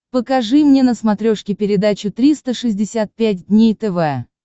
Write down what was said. покажи мне на смотрешке передачу триста шестьдесят пять дней тв